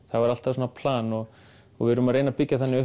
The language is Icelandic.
það var alltaf plan og og við erum að reyna að byggja þannig